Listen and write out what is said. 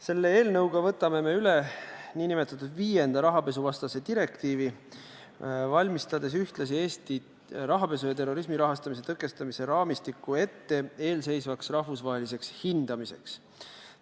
Selle eelnõuga võtame me üle nn viienda rahapesuvastase direktiivi, valmistades ühtlasi ette Eesti rahapesu ja terrorismi rahastamise tõkestamise raamistikku eelseisvaks rahvusvaheliseks hindamiseks.